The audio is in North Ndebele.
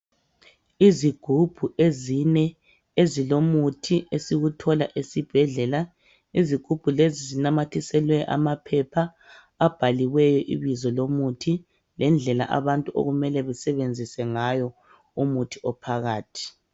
Izigubhu ezine ezilomuthi esiwuthola esibhedlela izigubhu lezi zinamathiselwe amaphepha abhaliweyo ibizo lomuthi lendlela abantu okumele besebenzise ngayo umuthi ophakathi.